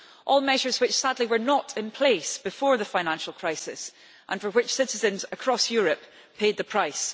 All measures which, sadly, were not in place before the financial crisis and for which citizens across Europe paid the price.